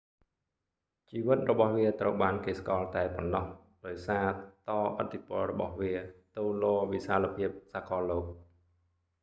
ជីវិតរបស់វាត្រូវបានគេស្គាល់តែប៉ុណ្ណោះ ដោយសារតឥទ្ធិពលរបស់វាទៅលវិសាលភាពសាកលលោក